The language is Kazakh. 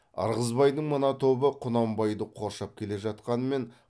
ырғызбайдың мына тобы құнанбайды қоршап келе жатқанымен